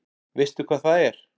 Veistu hvað það er?